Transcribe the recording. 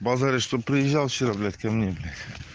базаришь чтобы приезжал вчера блять ко мне блять